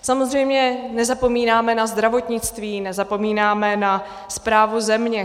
Samozřejmě nezapomínáme na zdravotnictví, nezapomínáme na správu země.